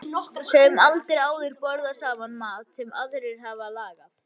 Höfum aldrei áður borðað saman mat sem aðrir hafa lagað.